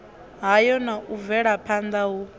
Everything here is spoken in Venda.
hayo na u bvelaphanda hu